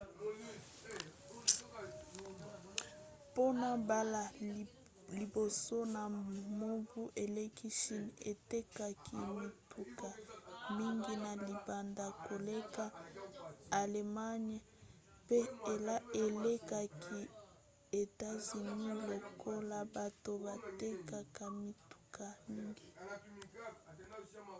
mpona mbala ya liboso na mobu eleki chine etekaki mituka mingi na libanda koleka allemagne pe elekaki etats-unis lokola bato batekaka mituka mingi